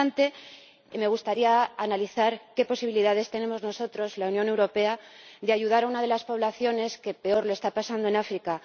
No obstante, me gustaría analizar qué posibilidades tenemos nosotros, la Unión Europea, de ayudar a una de las poblaciones que peor lo está pasando en África.